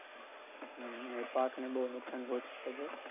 હમ એ પાકને બહુ નુક્સાન પોહંચાળે છે.